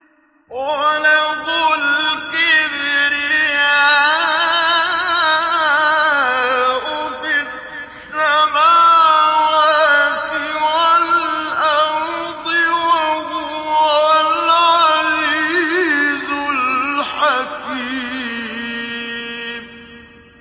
وَلَهُ الْكِبْرِيَاءُ فِي السَّمَاوَاتِ وَالْأَرْضِ ۖ وَهُوَ الْعَزِيزُ الْحَكِيمُ